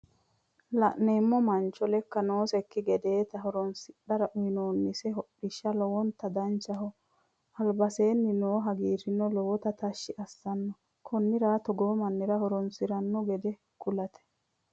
Lane'neemmo mancho leekka noosekki gedeeti horonsidhara uyinoonnise hodhishi lowontta danchaho alibbisera noo hagiirino lowonta tashshi assanno konnira toogo mannira horonsiranno gede kulate